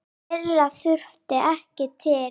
Fleira þurfti ekki til.